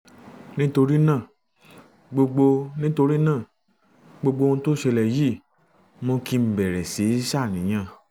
nítorí náà gbogbo nítorí náà gbogbo ohun tó ṣẹlẹ̀ yìí mú kí n bẹ̀rẹ̀ síí ṣàníyàn